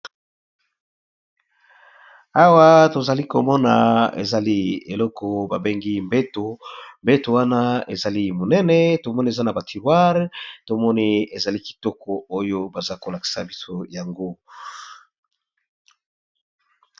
Esika oyo, ezali ndako batekisaka ba mbetu ya minene pe ya mike na ba tirroire na ngo.